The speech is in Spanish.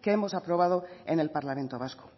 que hemos aprobado en el parlamento vasco